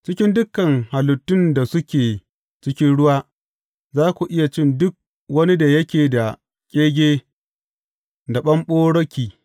Cikin dukan halittun da suke cikin ruwa, za ku iya cin duk wani da yake da ƙege da ɓamɓaroki.